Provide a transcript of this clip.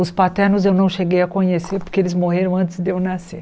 Os paternos eu não cheguei a conhecer porque eles morreram antes de eu nascer.